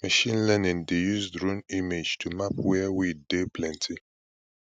machine learning dey use drone image to map where weed dey plenty